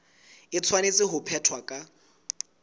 e tshwanetse ho phethwa ka